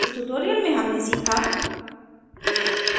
इस टुटोरिअल में हमने सीखा